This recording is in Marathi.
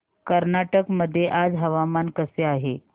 कर्नाटक मध्ये आज हवामान कसे आहे